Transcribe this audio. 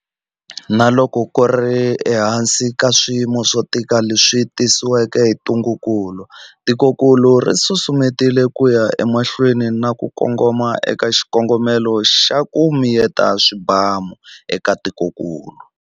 Na loko ku ri ehansi ka swiyimo swo tika leswi tisiweke hi ntungukulu, tikokulu ri susumetile ku ya emahlweni na ku kongoma eka xikongomelo xa 'ku miyeta swibamu' eka tikokulu.